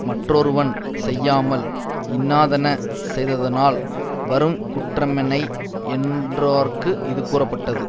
மற்றொருவன் செய்யாமல் இன்னாதன செய்ததனால் வரு குற்றமென்னை யென்றோர்க்கு இது கூறப்பட்டது